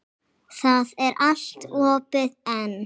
Það er allt opið enn.